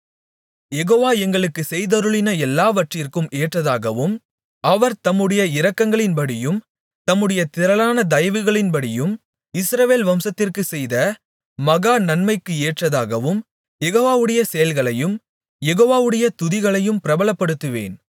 யெகோவா எங்களுக்குச் செய்தருளின எல்லாவற்றிற்கும் ஏற்றதாகவும் அவர் தம்முடைய இரக்கங்களின்படியும் தம்முடைய திரளான தயவுகளின்படியும் இஸ்ரவேல் வம்சத்திற்குச் செய்த மகா நன்மைக்கு ஏற்றதாகவும் யெகோவாவுடைய செயல்களையும் யெகோவாவுடைய துதிகளையும் பிரபலப்படுத்துவேன்